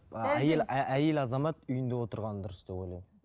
әйел азамат үйінде отырғаны дұрыс деп ойлаймын